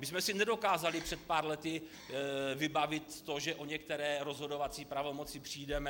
My jsme si nedokázali před pár lety vybavit to, že o některé rozhodovací pravomoci přijdeme.